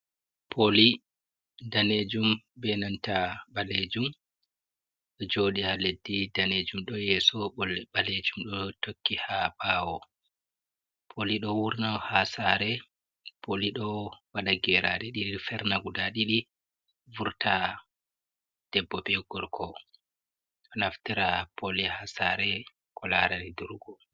Poli danejum benanta ɓalejum ɗo joɗi ha leddi danejum ɗo yeso balejum ɗo tokki ha bawo, poli ɗo wurne ha sare poli ɗo waɗa geraɗe didi ferna guda didi vurta debbo be gorko ɗo naftira poli ha sare ko larani durgo.